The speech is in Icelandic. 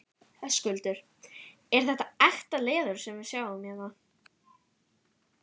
Höskuldur: Er þetta ekta leður sem við sjáum hérna?